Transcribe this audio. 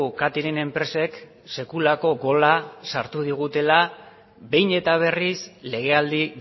catering enpresek sekulako gola sartu digutela behin eta berriz legealdi